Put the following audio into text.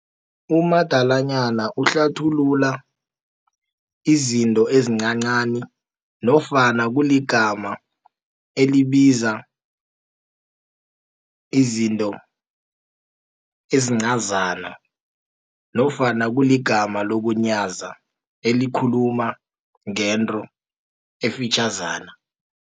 Umadalanyana uhlathulula, izinto ezincancani, nofana kuligama elibiza izinto ezincazana, nofana kuligama lokunyaza elikhuluma ngento efitjhazana.